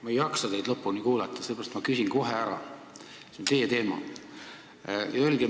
Ma ei jaksa teid lõpuni kuulata, sellepärast küsin kohe ära, see on teie teema.